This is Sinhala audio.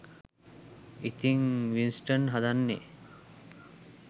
ඉතිං වින්ස්ටන් හදන්නේ